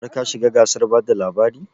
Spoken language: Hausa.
Har ka shiga gasar bada labari?